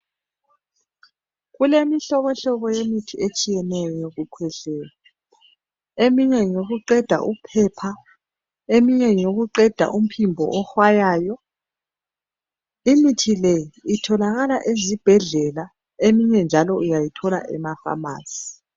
Kulemihlobohlobo yemithi etshiyeneyo yokukhwehlela. Eminye ngeyokuqeda uphepha, eminye ngeyokuqeda imiphimbo ehwayayo imithi le itholakala ezibhedlela eminye njalo uyayithola emafamasi